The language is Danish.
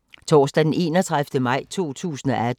Torsdag d. 31. maj 2018